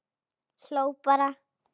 Hló bara.